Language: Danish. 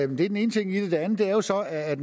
den ene ting i det det andet er jo så at